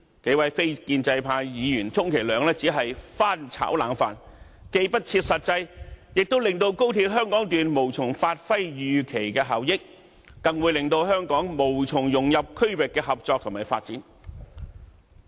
數位非建派議員充其量只是"翻炒冷飯"，既不切實際，亦令高鐵香港段無從發揮預期的效益，更會令香港無從融入區域的合作及發展。